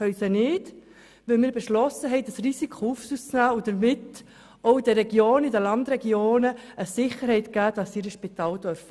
Das können wir nicht, weil wir beschlossen haben, das Risiko auf uns zu nehmen und damit den Regionen – auch den Landregionen – eine Sicherheit zu geben, dass sie ihre Spitäler haben dürfen.